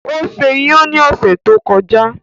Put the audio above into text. Ó ṣe iyan ní ọ̀sẹ̀ tó kọjá.